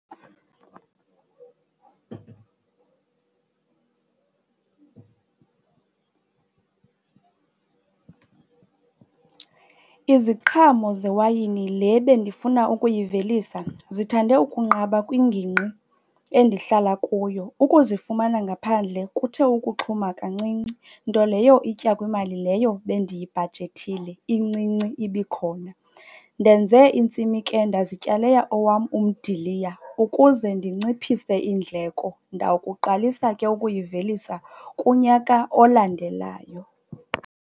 Iziqhamo zewayini le bendifuna ukuyivelisa zithande ukunqaba kwingingqi endihlala kuyo, ukuzifumana ngaphandle kuthe ukuxhuma kancinci nto leyo itya kwimali leyo bendiyibhajethile incinci ibikhona. Ndenze intsimi ke ndazityalela owam umdiliya ukuze ndinciphise iindleko. Ndawukuqalisa ke ukuyivelisa kunyaka olandelayo.